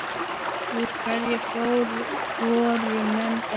Úr hverju voru menn gerðir?